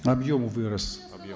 объем вырос